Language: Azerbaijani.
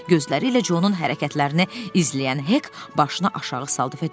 Gözləri ilə Conun hərəkətlərini izləyən Hek başını aşağı saldı və dedi: